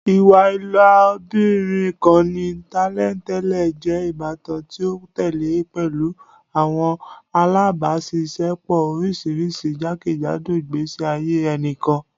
Iwa ilobirin kan ni tẹlentẹle jẹ ibatan ti o tẹle pẹlu awọn alabaṣiṣẹpọ oriṣiriṣi jakejado igbesi aye ẹnikan